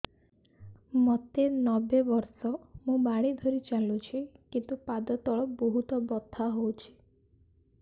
ମୋତେ ନବେ ବର୍ଷ ମୁ ବାଡ଼ି ଧରି ଚାଲୁଚି କିନ୍ତୁ ପାଦ ତଳ ବହୁତ ବଥା ହଉଛି